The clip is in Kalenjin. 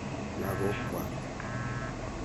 Lagok kwak.